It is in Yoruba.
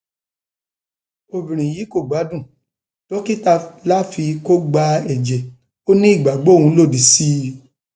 obìnrin yìí kò gbádùn dókítà láfi kó gba ẹjẹ ó nígbàgbọ òun lòdì sí i